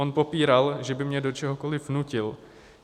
On popíral, že by mě do čehokoliv nutil.